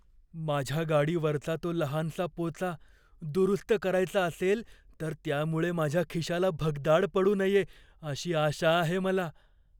माझ्या गाडीवरचा तो लहानसा पोचा दुरुस्त करायचा असेल तर त्यामुळे माझ्या खिशाला भगदाड पडू नये अशी आशा आहे मला.